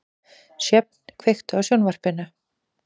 Sjöfn, kveiktu á sjónvarpinu.